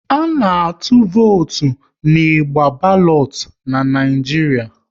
A na-atụ votu n'igba balotu n'Naijiria